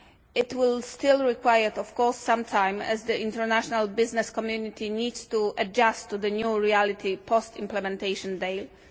It will still require, of course, some time as the international business community needs to adjust to the new reality of the post implementation deal.